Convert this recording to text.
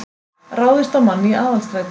Ráðist á mann í Aðalstræti